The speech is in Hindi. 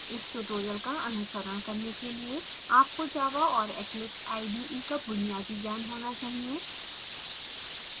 इस tutorial का अनुसरण करने के लिए आपको java और eclipse ide का बुनियादी ज्ञान होना चहिए